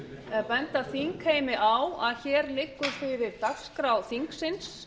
vill benda þingheimi á að hér liggur fyrir dagskrá þingsins